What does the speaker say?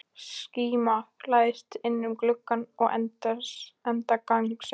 Skíma læðist inn um glugga við enda gangsins.